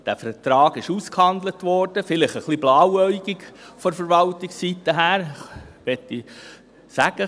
Der Vertrag wurde ausgehandelt – vielleicht etwas blauäugig von Verwaltungsseite her, möchte ich sagen.